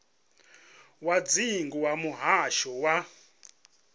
wa dzingu wa muhasho wa